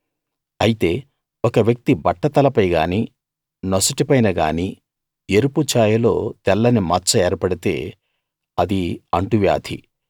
అయితే ఒక వ్యక్తి బట్టతలపై గానీ నొసటిపైన గానీ ఎరుపు చాయలో తెల్లని మచ్చ ఏర్పడితే అది అంటువ్యాధి